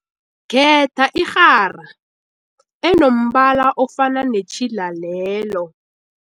Khetha irhara enombala ofana netjhila lelo.